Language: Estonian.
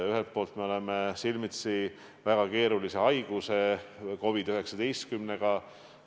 Ühelt poolt me seisame silmitsi väga keerulise haiguse, COVID-19-ga.